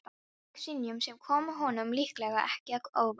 Hann fékk synjun, sem kom honum líklega ekki að óvörum.